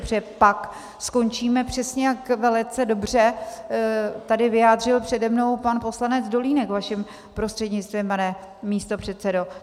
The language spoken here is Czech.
Protože pak skončíme přesně, jak velice dobře tady vyjádřil přede mnou pan poslanec Dolínek vaším prostřednictvím, pane místopředsedo.